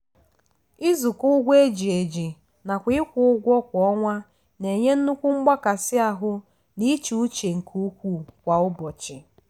izukọ ụgwọ eji eji nakwa ịkwụ ụgwọ kwa ọnwa na-enye nnukwu mgbakasi ahụ na íchè uche nke ukwuu kwa ụbọchị.